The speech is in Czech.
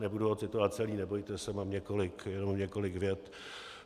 Nebudu ho citovat celý, nebojte se, mám jenom několik vět: